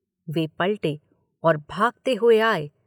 वे पलटे और भागते हुए आए।